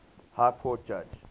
high court judge